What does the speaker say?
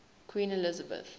queen elizabeth